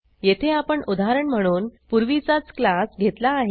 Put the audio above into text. येथे आपण उदाहरण म्हणून पूर्वीचाच क्लास घेतला आहे